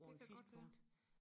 det kan godt være